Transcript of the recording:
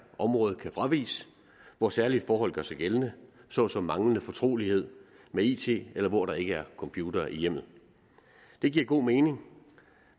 område kan fraviges hvor særlige forhold gør sig gældende såsom manglende fortrolighed med it eller der hvor der ikke er computere i hjemmet det giver god mening